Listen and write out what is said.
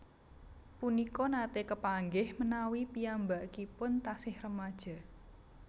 Punika nate kepanggih menawi piyambakipun tasih remaja